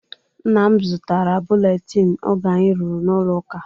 Nnam zụtara buletin oge anyị ruru na-ụlọ ụka.